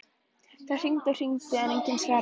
Það hringdi og hringdi en enginn svaraði.